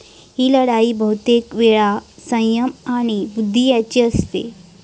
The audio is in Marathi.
ही लढाई बहुतेक वेळा सय्यम आणि बुद्धी यांची असते.